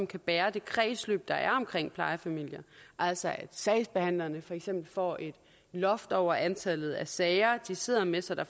kan bære det kredsløb der er omkring plejefamilierne altså at sagsbehandlerne for eksempel får et loft over antallet af sager de sidder med så der